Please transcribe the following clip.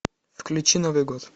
включи новый год